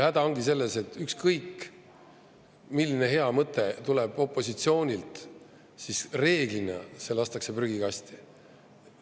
Häda ongi selles, et kui ükskõik milline hea mõte tuleb opositsioonilt, siis reeglina see lastakse prügikasti.